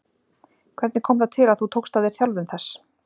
Hvernig kom það til að þú tókst að þér þjálfun þess?